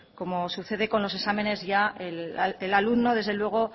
como sucede con los exámenes ya el alumno desde luego